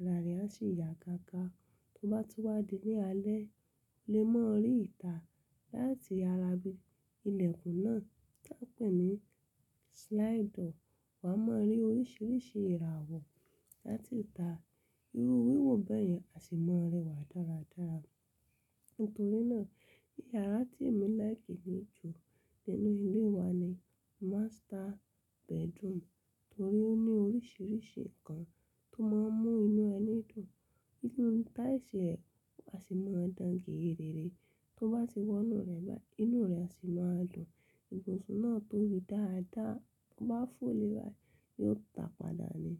ara rẹ̀ á sì yá gágá. Tó bá tún wádìí ní alẹ́, ó lè mọ̀ rí ìtà láti ara ibi ìlẹ̀kùn náà tí a pè ní slider. Wà á mọ̀ rí oríṣìíríṣìí ìràwọ̀ láti ìta. Irú ìwé wọ̀ bẹ́ẹ̀ yẹn, a sì máa rẹwà dáradára. Nítorí náà yàrá tí èmi láìkì ní ju nínú ilé wa ni master bedroom, torí ó ní oríṣìíríṣìí ǹkan tó máa ń mú inú ẹni dùn. Inú táyìṣí rẹ̀ a sì máa dán géèrè réré. Tó bá ti wọ inú rẹ̀ báyìí, inú rẹ̀ sì máa dùn. Ìbùsùn náà tóbi dáadáa, tó bá fò léèwá yóò ta padà ni.